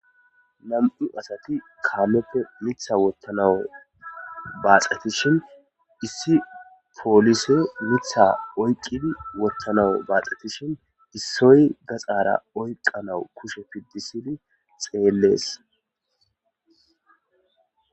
nam7u asati kaammeppe mitha wottanawu baaxetishin issi poolise mitha oyqqidi wottanawu baaxeti shin issoy gaxara oyqanau kushe piddisidi xeellees